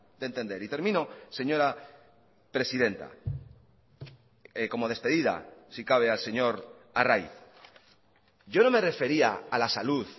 de entender y termino señora presidenta como despedida si cabe al señor arraiz yo no me refería a la salud